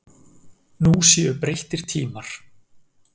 Nú séu breyttir tímar.